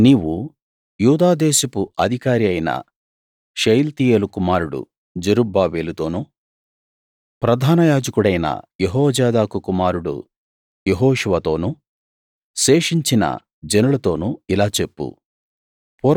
నీవు యూదాదేశపు అధికారి అయిన షయల్తీయేలు కుమారుడు జెరుబ్బాబెలుతోను ప్రధానయాజకుడైన యెహోజాదాకు కుమారుడు యెహోషువతోను శేషించిన జనులతోను ఇలా చెప్పు